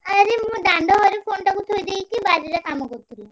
ଆରେ ମୁଁ ଦାଣ୍ଡ ଘରେ phone ଟାକୁ ଧୋଇଦେଇକି ବାଡିରେ କାମ କରୁଥିଲି।